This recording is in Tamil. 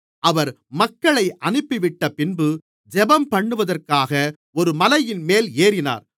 அவர் மக்களை அனுப்பிவிட்டப்பின்பு ஜெபம்பண்ணுவதற்காக ஒரு மலையின்மேல் ஏறினார்